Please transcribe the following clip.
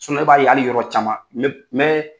ne b'a ye hali yɔrɔ caman n bɛ